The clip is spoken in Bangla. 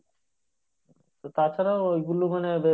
তো তাছাড়া ওইগুলো মানে